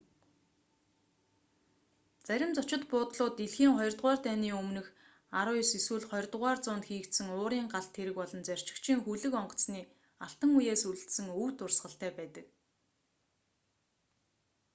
зарим зочид буудлууд дэлхийн хоёрдугаар дайны өмнөх 19 эсвэл 20-р зуунд хийгдсэн уурын галт тэрэг болон зорчигчийн хөлөг онгоцны алтан үеэс үлдсэн өв дурсгалтай байдаг